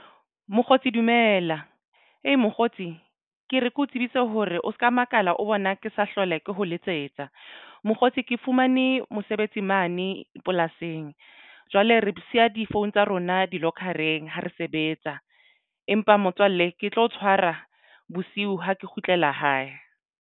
Mokgotsi dumela hee mokgotsi ke re ke o tsebise hore o se ka makala o bona ke sa hlole ke ho letsetsa mokgotsi. Ke fumane mosebetsi mane polasing. Jwale re siya di-phone tsa rona di-locker-eng ha re sebetsa empa motswalle ke tlo tshwara bosiu ha ke kgutlela hae.